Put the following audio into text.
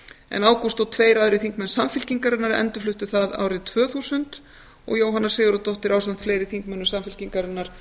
en ágúst og tveir aðrir þingmenn samfylkingarinnar endurfluttu það árið tvö þúsund og jóhanna sigurðardóttir ásamt fleiri þingmönnum samfylkingarinnar